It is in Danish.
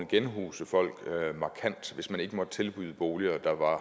genhuse folk markant hvis man ikke måtte tilbyde boliger der var